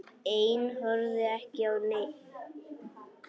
Ein horfði ekki á neinn.